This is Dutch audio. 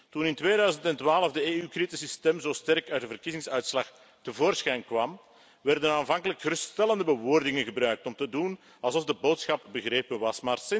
Toen in 2012 de EU-kritische stem zo sterk uit de verkiezingsuitslag tevoorschijn kwam, werden aanvankelijk geruststellende bewoordingen gebruikt om te doen alsof de boodschap begrepen was.